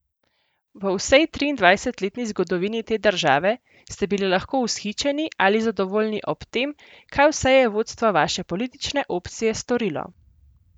V vsej triindvajsetletni zgodovini te države ste bili lahko vzhičeni ali zadovoljni ob tem, kaj vse je vodstvo vaše politične opcije storilo.